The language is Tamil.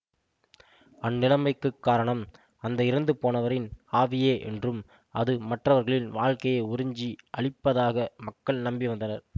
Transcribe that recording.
அந்நிலமைக்குக் காரணம் அந்த இறந்துபோனவரின் ஆவியே என்றும் அது மற்றவர்களின் வாழ்க்கையை உறிஞ்சி அழிப்பதாக மக்கள் நம்பி வந்தனர்